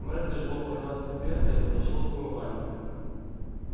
мэр тяжело поднялся с кресла и подошёл к умывальнику